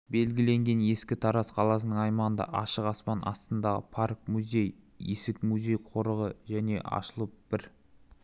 белгіленген ескі тараз қаласының аймағында ашық аспан астындағы парк музей есік музей-қорығы және ашылып бір